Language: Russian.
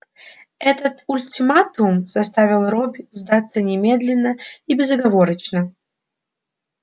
этот ультиматум заставил робби сдаться немедленно и безоговорочно